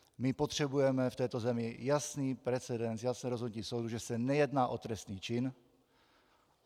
My potřebujeme v této věci jasný precedens, jasné rozhodnutí soudu, že se nejedná o trestný čin.